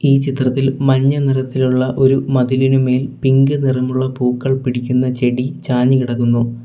ഈ ചിത്രത്തിൽ മഞ്ഞനിറത്തിലുള്ള ഒരു മതിലിനുമേൽ പിങ്ക് നിറമുള്ള പൂക്കൾ പിടിക്കുന്ന ചെടി ചാഞ്ഞു കെടക്കുന്നു.